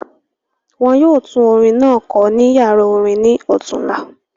Wọn yoo tun orin naa kọ ni yara orin ni ọtunọla